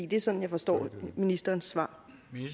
det er sådan jeg forstår ministerens svar